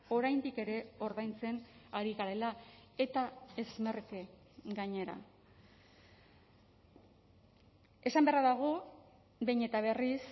oraindik ere ordaintzen ari garela eta ez merke gainera esan beharra dago behin eta berriz